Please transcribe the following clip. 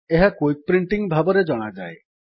ଏହା quick printing ଭାବେ ଜଣାଯାଏ